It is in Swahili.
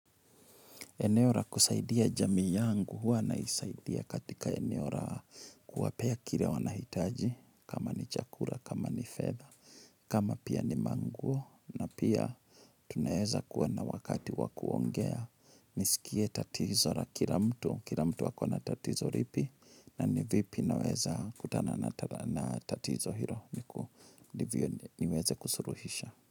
Eneo la kusaidia jamii yangu huwa naisaidia katika eneo la kuwapea kile wanahitaji kama ni chakula kama ni fedha kama pia ni manguo na pia tunaeza kuwa na wakati wakuongea nisikie tatizo la kila mtu kila mtu ako na tatizo lipi na ni vipi naweza kutana na tatizo hilondivyo niweze kusuluhisha.